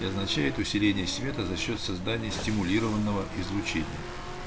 и означает усиление света за счёт создания стимулированного излучения